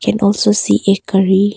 Can also see a curry.